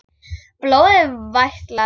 Blóðið vætlar.